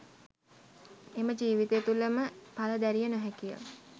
එම ජීවිතය තුළ ම ඵල දැරිය නොහැකි ය.